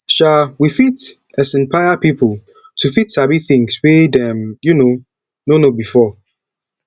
um we fit isnpire pipo to fit sabi things wey dem um no know before